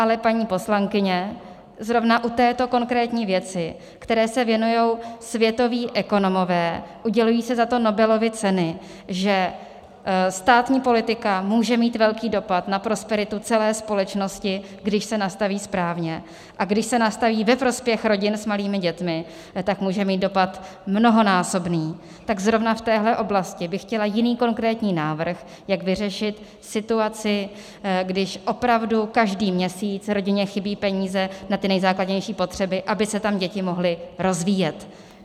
Ale paní poslankyně, zrovna u této konkrétní věci, které se věnují světoví ekonomové, udělují se za to Nobelovy ceny, že státní politika může mít velký dopad na prosperitu celé společnosti, když se nastaví správně, a když se nastaví ve prospěch rodin s malými dětmi, tak může mít dopad mnohonásobný, tak zrovna v téhle oblasti by chtěla jiný konkrétní návrh, jak vyřešit situaci, když opravdu každý měsíc rodině chybí peníze na ty nejzákladnější potřeby, aby se tam děti mohly rozvíjet.